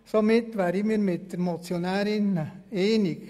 Somit wären wir mit den Motionärinnen einverstanden.